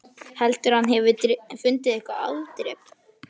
Heldurðu að hann hafi fundið eitthvert afdrep?